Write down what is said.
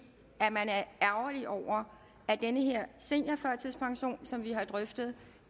man er ærgerlig over at den her seniorførtidspension som vi har drøftet